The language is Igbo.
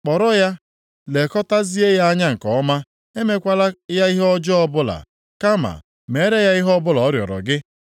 “Kpọrọ ya, lekọtazie ya anya nke ọma; emekwala ya ihe ọjọọ ọbụla, kama meere ya ihe ọbụla ọ rịọrọ gị.”